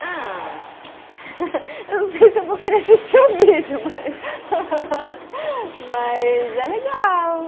Ah, eu não sei se eu vou querer assistir o vídeo, mas, mas é legal.